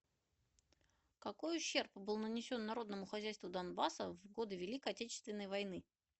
какой ущерб был нанесен народному хозяйству донбасса в годы великой отечественной войны